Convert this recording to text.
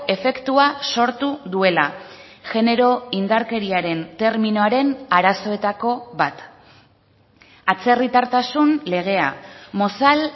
efektua sortu duela genero indarkeriaren terminoaren arazoetako bat atzerritartasun legea mozal